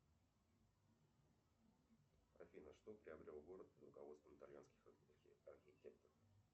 афина что приобрел город под руководством итальянских архитекторов